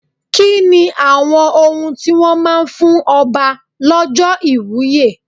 Kí ni àwọn ohun tí wón máa ń fún Ọba lọ́jọ́ ìwúye?